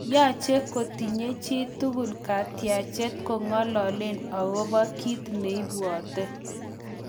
Yoche kotinye chi tugul katyachet ko'ngalalen akobo kit nebwote.